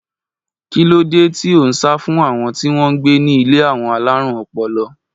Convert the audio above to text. Kí ló dé tí ó ń sá fún àwọn tí wọ́n gbé ní ilé àwọn alárùn ọpọlọ?